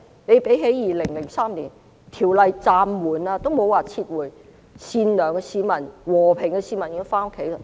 相比2003年，法案暫緩而不是撤回，善良且和平的市民便已經回家。